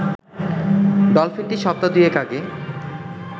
ডলফিনটি সপ্তাহ দুয়েক আগে